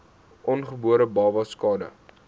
ongebore babas skade